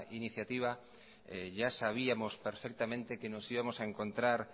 iniciativa ya sabíamos perfectamente que nos íbamos a encontrar